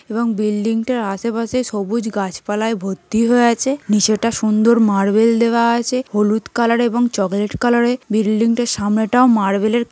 এবং বিল্ডিং -টার আশেপাশে সুন্দর গাছপালায় ভর্তি হয়ে আছে। নিচেটা সুন্দর মার্বেল দেওয়া আছে। হলুদ কালার এবং চকলেট কালারে । বিল্ডিং -টার সামনেটাও মার্বেল -এর --